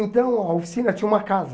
Então, a oficina tinha uma casa.